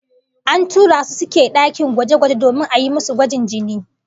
An tura su suke dakin gwaje-gwaje domin ayi musu gwajin jini